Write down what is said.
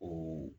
O